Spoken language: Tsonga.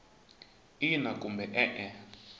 ina kumbe e e